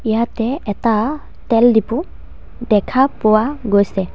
ইয়াতে এটা তেল ডিপু দেখা পোৱা গৈছে।